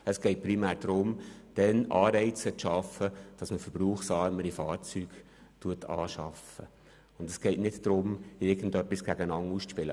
Es geht primär darum, für diesen Moment Anreize zu schaffen und nicht darum, irgendetwas gegeneinander auszuspielen.